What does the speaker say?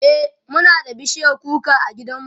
e Muna da bishiyar kuka a gidan mu